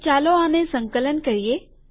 તો ચાલો આને સંકલન કરીએ